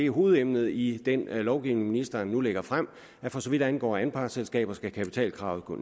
hovedemnet i den lovgivning ministeren nu lægger frem at for så vidt angår anpartsselskaber skal kapitalkravet